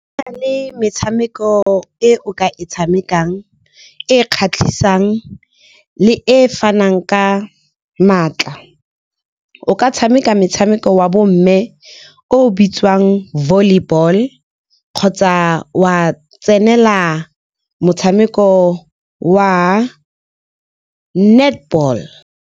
Go na le metshameko e o ka e tshamekang e kgatlhisang le e fanang ka maatla. O ka tshameka metshameko wa bo mme o bitsiwang volleyball kgotsa wa tsenela motshameko wa netball.